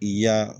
I y'a